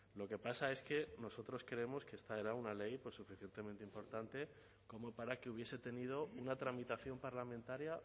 lo que pasa es que nosotros creemos que esta era una ley suficientemente importante como para que hubiese tenido una tramitación parlamentaria